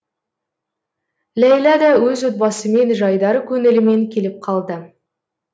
ләйлә да өз отбасымен жайдары көңілімен келіп қалды